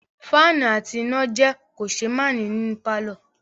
Fáànù àti iná jẹ́ kòṣeémánìí nínú pàlọ́